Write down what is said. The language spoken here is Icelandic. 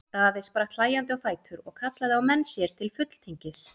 Daði spratt hlæjandi á fætur og kallaði á menn sér til fulltingis.